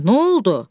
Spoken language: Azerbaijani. Nə oldu?